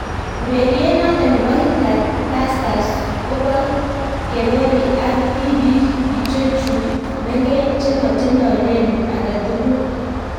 Ureriet noton bo Hitler Tasters koboh kerori ak tibiik ichocuhu mengeech che matindoi lelut aketukul